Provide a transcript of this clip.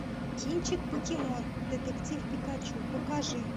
кинчик покемон детектив пикачу покажи